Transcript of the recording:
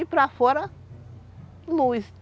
E para fora, luz.